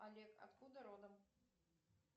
олег откуда родом